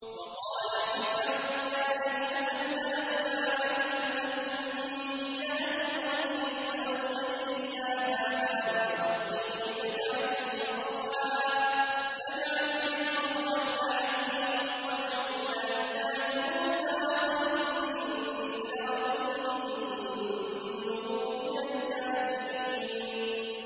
وَقَالَ فِرْعَوْنُ يَا أَيُّهَا الْمَلَأُ مَا عَلِمْتُ لَكُم مِّنْ إِلَٰهٍ غَيْرِي فَأَوْقِدْ لِي يَا هَامَانُ عَلَى الطِّينِ فَاجْعَل لِّي صَرْحًا لَّعَلِّي أَطَّلِعُ إِلَىٰ إِلَٰهِ مُوسَىٰ وَإِنِّي لَأَظُنُّهُ مِنَ الْكَاذِبِينَ